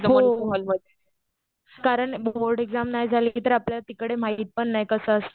हो. कारण board exam नाही झाली तर आपल्याला तिकडे माहित पण नाही कसं असतं.